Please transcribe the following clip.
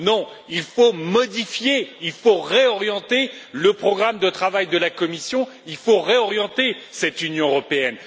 Non, il faut modifier et réorienter le programme de travail de la Commission, et ainsi réorienter cette Union européenne.